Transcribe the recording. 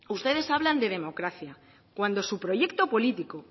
ustedes hablan de democracia cuando su proyecto político